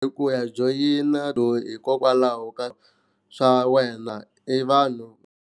Ku ya joyina hikokwalaho ka swa wena i vanhu.